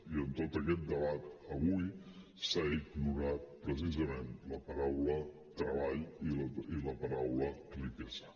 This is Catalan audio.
i en tot aquest debat avui s’ha ignorat precisament la paraula treball i la paraula riquesa